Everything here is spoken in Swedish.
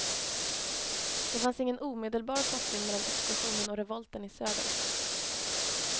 Det fanns ingen omedelbar koppling mellan explosionen och revolten i södern.